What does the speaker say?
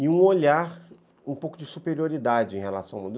E um olhar um pouco de superioridade em relação ao mundo.